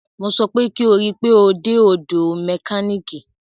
Mo sọ pé kí o rí pe o dé ọ̀dọ̀ mẹkánìkì!